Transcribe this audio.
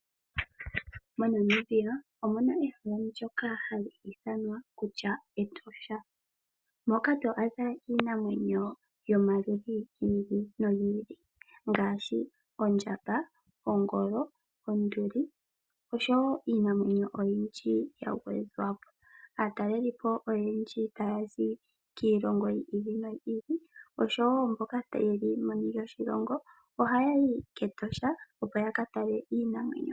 Monamibia omuna ehala ndoka hali ithanwa kutya Etosha ,moka to adha iinamwenyo yomaludhi gi ili nogi ili ngaashi oondjamba, oongolo ,oonduli oshowoiinamwenyo oyindji ya gwedhwapo. Aatalelipo oyendji tayazi kiilongo yi ili noyi ili oshowo mboka ye li meni lyoshilongo oha yayi ketosha opo ya katale iinamwenyo.